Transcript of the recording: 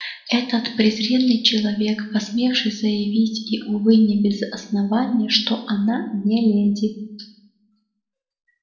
этот презренный человек посмевший заявить и увы не без основания что она не леди